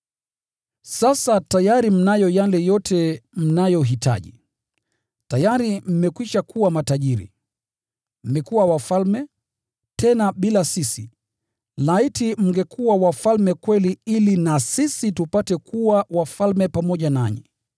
Sasa tayari mnayo yale yote mnayohitaji! Tayari mmekwisha kuwa matajiri! Mmekuwa wafalme, tena bila sisi! Laiti mngekuwa wafalme kweli ili na sisi tupate kuwa wafalme pamoja nanyi!